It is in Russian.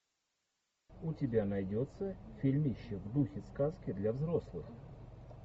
у тебя найдется фильмище в духе сказки для взрослых